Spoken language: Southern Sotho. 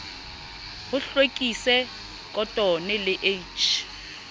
ho hlwekise khotone le h